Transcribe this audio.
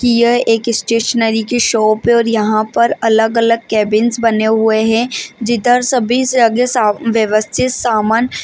की यह एक स्टेशनरी की शॉप है और यहाँ पर अलग अलग केबिन्स बने हुए है जिधर सभी से अगे साव व्यवस्शित सामान --